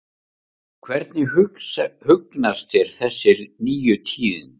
Hvernig hugnast þér þessi nýju tíðindi?